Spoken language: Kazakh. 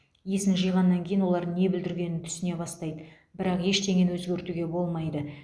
есін жиғаннан кейін олар не бүлдіргенін түсіне бастайды бірақ ештеңені өзгертуге болмайды